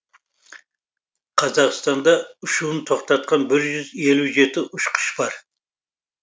қазақстанда ұшуын тоқтатқан бір жүз елу жеті ұшқыш бар